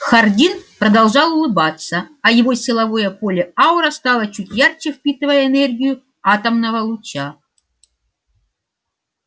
хардин продолжал улыбаться а его силовое поле-аура стало чуть ярче впитывая энергию атомного луча